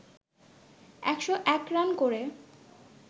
১০১ run করে